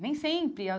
Nem sempre a.